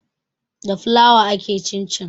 Da flour ake cincin